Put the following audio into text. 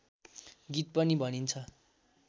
गीत पनि भनिन्छ